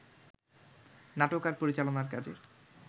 নাটক আর পরিচালনার কাজে